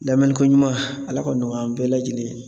Lamɛli ko ɲuman ala k'o nɔgɔya an bɛɛ lajɛlen ye